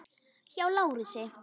Hjá Lárusi.